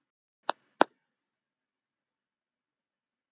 Það skal ég gera